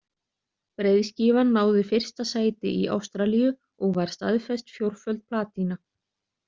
Breiðskífan náði fyrsta sæti í Ástralíu og var staðfest fjórföld platína.